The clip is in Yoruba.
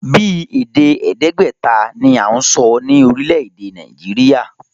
Bíi èdè èèdégbèta ni à ń sọ ní orílè èdè Nàìjíríà